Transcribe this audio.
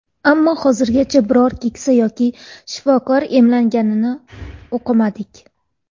Ammo hozirgacha biror keksa yoki shifokor emlanganini o‘qimadik.